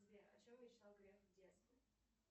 сбер о чем мечтал греф в детстве